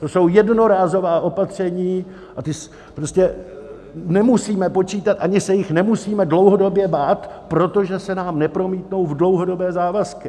To jsou jednorázová opatření a ta prostě nemusíme počítat ani se jich nemusíme dlouhodobě bát, protože se nám nepromítnou v dlouhodobé závazky.